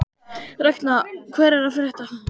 Ragna, hvað er að frétta?